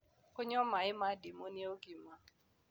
Kũnyua mae ma ndĩmũ nĩ ũgima